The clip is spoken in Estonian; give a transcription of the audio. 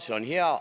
See on hea.